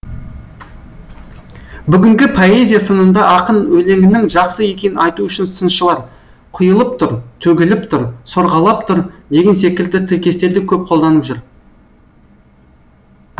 бүгінгі поэзия сынында ақын өлеңінің жақсы екенін айту үшін сыншылар құйылып тұр төгіліп тұр сорғалап тұр деген секілді тіркестерді көп қолданып жүр